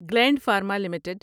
gland Pharma limited